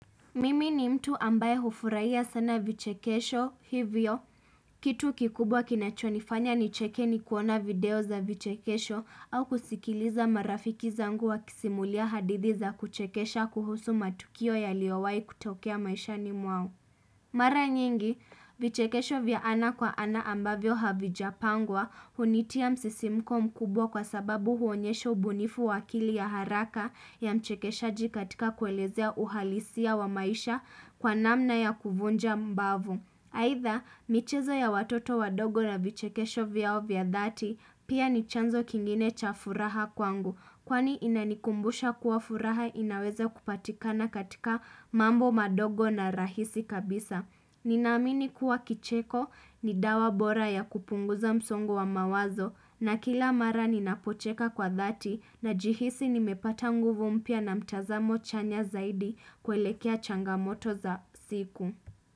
Mimi ni mtu ambaye hufurahia sana vichekesho hivyo. Kitu kikubwa kinachonifanya nicheke ni kuona video za vichekesho au kusikiliza marafiki zangu wakisimulia hadithi za kuchekesha kuhusu matukio yaliowahi kutokea maishani mwao. Mara nyingi, vichekesho vya ana kwa ana ambavyo havijapangwa hunitia msisimko mkubwa kwa sababu huonyesho ubunifu wa akili ya haraka ya mchekeshaji katika kuelezea uhalisia wa maisha kwa namna ya kuvunja mbavu. Aidha, michezo ya watoto wadogo na vichekesho vyao vya dhati, pia ni chanzo kingine cha furaha kwangu, kwani inanikumbusha kuwa furaha inaweza kupatikana katika mambo madogo na rahisi kabisa. Ninaamini kuwa kicheko, ni dawa bora ya kupunguza msongo wa mawazo, na kila mara ninapocheka kwa dhati, najihisi nimepata nguvu mpya na mtazamo chanya zaidi kuelekea changamoto za siku.